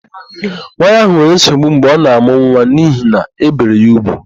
Nwaanyị ahụ nwere nsogbu mgbe ọ na-àmụ́ nwa n'ihi na ébèrè ya úgwù.